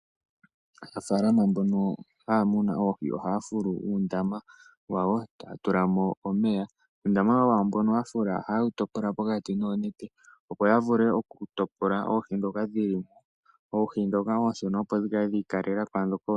Aanafalama mbono haya muna oohi oha fulu uundama wayo taa tulamo omeya. Uundama mbono yafula ohaa wu topola noonete opo ya vule oku topola oohi dhoka dhili mo. Oohi dhoka oonshona opo dhi kale dhi ikalela kwaa dhoka oonene.